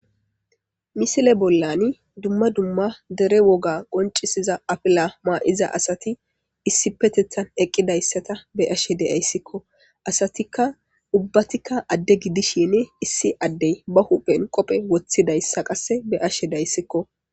Misile bollani dumma dumma dere woga qoncisiza afila ma7iza asati issipetethan eqqidayssata be7ashe de7ayssikko. Asatikka ubbatikka adde gidishini issi addey ba huphen qophe woththidayssa qasse be7ashe daysikko.